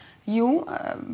jú